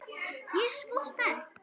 Ég er svo spennt.